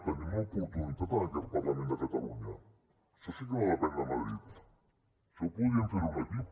en tenim l’oportunitat en aquest parlament de catalunya això sí que no depèn de madrid això podríem fer ho en aquí